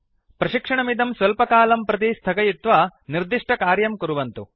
प्रशिक्षणमिदं स्वल्पकालं प्रति स्थगयित्वा निर्दिष्टकार्यं कुर्वन्तु